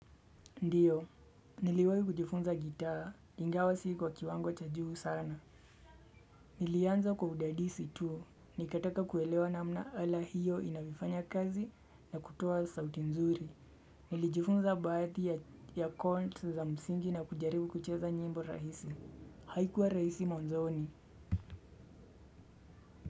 Ndiyo, niliwahi kujifunza gitaa, ingawa si kwa kiwango cha juu sana. Nilianza kwa udadisi tu, nikataka kuelewa namna ala hiyo inavyofanya kazi na kutoa sauti nzuri. Nilijifunza baadhi ya kont za msingi na kujaribu kucheza nyimbo rahisi. Haikuwa rahisi mwanzoni.